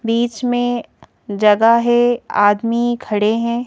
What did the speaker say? बीच में जगह है आदमी खड़े हैं।